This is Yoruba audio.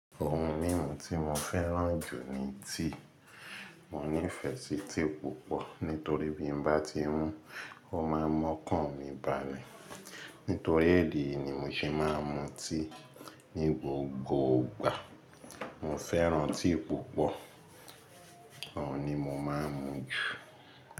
Ohun mímu tí mo fẹ́ràn jù ni tea, mo nífẹsí tea púpọ̀ nítorí bí n bá ti mú, ó máa mọ́kàn mi bále, nítorí idi è yìí ni mo ṣe máa ń mu tea ní gbogbo ìgbà. Mo fẹ́ràn tea púpọ̀, ọun ni mo máa ń mu jù.